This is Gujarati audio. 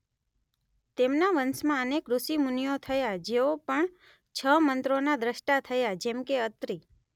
તેમના વંશમાં અનેક ઋષિ મુનિઓ થયા જેઓ પણ છ મંત્રોના દ્રષ્ટા થયા જેમકે અત્રિ